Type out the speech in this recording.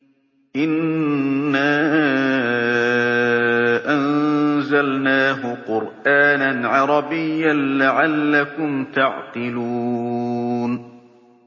إِنَّا أَنزَلْنَاهُ قُرْآنًا عَرَبِيًّا لَّعَلَّكُمْ تَعْقِلُونَ